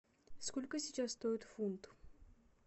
сколько сейчас стоит фунт